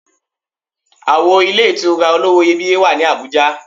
Àwo ilé ìtura olówó iyebíye wà ní Àbújá.